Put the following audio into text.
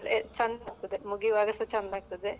ಚಂದ ಆಗ್ತದೆ ಮುಗಿಯುವಾಗ ಸಾ ಚಂದ ಆಗ್ತದೆ.